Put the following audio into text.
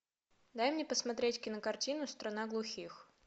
дай мне посмотреть кинокартину страна глухих